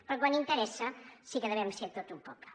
però quan interessa sí que hem de ser tots un poble